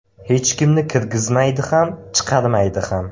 Hech kimni kirgizmaydi ham, chiqarmaydi ham.